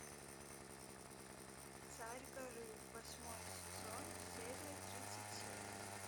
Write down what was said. царь горы восьмой сезон серия тридцать семь